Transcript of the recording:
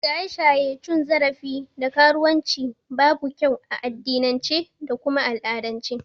Shaye-shaye, cin zarafi da karuwan ci babu kyau a addinince da kuma al'adance